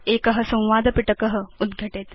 एक संवादपिटक उद्घटेत्